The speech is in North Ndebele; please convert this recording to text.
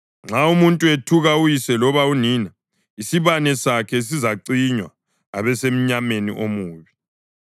Nxa umuntu ethuka uyise loba unina, isibane sakhe sizacinywa abesemnyameni omubi.